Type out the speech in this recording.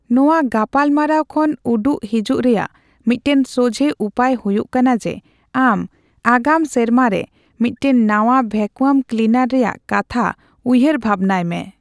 ᱱᱚᱣᱟ ᱜᱟᱯᱟᱞᱢᱟᱨᱟᱣ ᱠᱷᱚᱱ ᱩᱰᱩᱜ ᱦᱮᱡᱩᱜ ᱨᱮᱭᱟᱜ ᱢᱤᱫᱴᱟᱝ ᱥᱚᱡᱦᱮ ᱩᱯᱟᱹᱭ ᱦᱩᱭᱩᱜ ᱠᱟᱱᱟ ᱡᱮ, ᱟᱢ ᱟᱜᱟᱢ ᱥᱮᱢᱟᱨ ᱨᱮ ᱢᱤᱫᱴᱟᱝ ᱱᱟᱣᱟ ᱵᱷᱮᱠᱚᱣᱟᱢ ᱠᱞᱤᱱᱟᱨ ᱨᱮᱭᱟᱜ ᱠᱟᱛᱷᱟ ᱩᱭᱦᱟᱹᱨ ᱵᱷᱟᱵᱱᱟᱭ ᱢᱮ ᱾